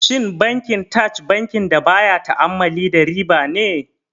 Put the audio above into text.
Shin Bankin Taj bankin da baya ta'ammali da riba ne?